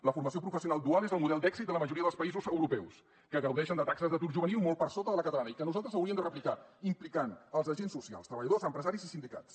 la formació professional dual és el model d’èxit de la majoria dels països europeus que gaudeixen de taxes d’atur juvenil molt per sota de la catalana i que nosaltres hauríem de replicar implicant els agents socials treballadors empresaris i sindicats